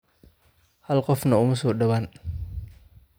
Hal qofna uma soo dhawaan.